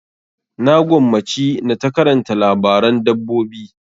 Na gwammaci na ta karanta labaran dabbobi.